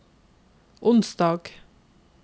onsdag